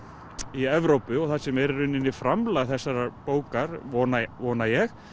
í Evrópu og það sem er í rauninni framlag þessarar bókar vona vona ég